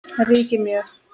ríkir mjög.